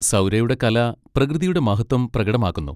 സൗരയുടെ കല പ്രകൃതിയുടെ മഹത്വം പ്രകടമാക്കുന്നു.